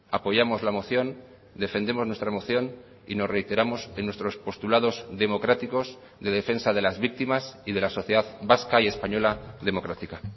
apoyamos la moción defendemos nuestra moción y nos reiteramos en nuestros postulados democráticos de defensa de las víctimas y de la sociedad vasca y española democrática